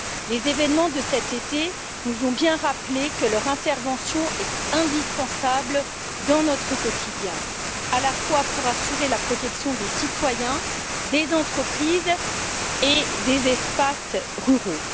Les événements de cet été nous ont bien rappelé que leur intervention est indispensable dans notre quotidien, pour assurer la protection à la fois des citoyens, des entreprises et des espaces ruraux.